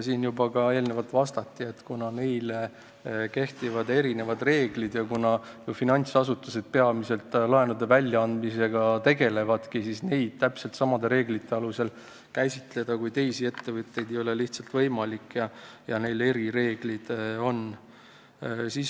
Siin juba eelnevalt vastati, et kuna nende kohta kehtivad erinevad reeglid ja kuna finantsasutused peamiselt laenude väljaandmisega tegelevadki, siis neid ei ole lihtsalt võimalik käsitleda täpselt samade reeglite alusel kui teisi ettevõtjaid, neil on erireeglid.